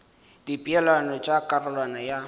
ka dipeelano tša karolwana ya